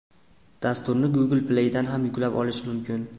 Dasturni Google Play’dan yuklab olish mumkin.